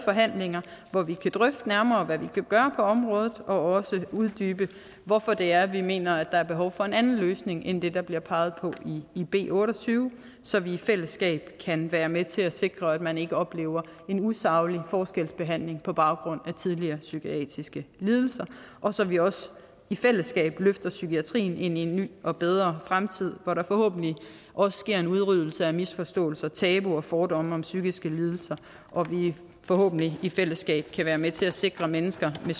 forhandlinger hvor vi kan drøfte nærmere hvad vi kan gøre på området og også uddybe hvorfor det er vi mener der er behov for en anden løsning end det der bliver peget på i b otte og tyve så vi i fællesskab kan være med til at sikre at man ikke oplever en usaglig forskelsbehandling på baggrund af tidligere psykiske lidelser og så vi også i fællesskab løfter psykiatrien ind i en ny og bedre fremtid hvor der forhåbentlig også sker en udryddelse af misforståelser tabuer og fordomme om psykiske lidelser og vi forhåbentlig i fællesskab kan være med til at sikre at mennesker med